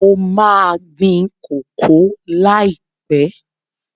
Mo ma gbin koko líàpẹ́